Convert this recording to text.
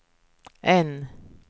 N